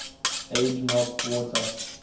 age melt water